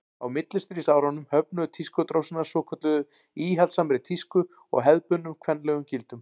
á millistríðsárunum höfnuðu tískudrósirnar svokölluðu íhaldssamri tísku og hefðbundnum kvenlegum gildum